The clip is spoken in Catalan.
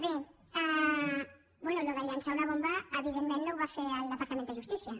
bé això de llançar una bomba evidentment no ho va fer el departament de justícia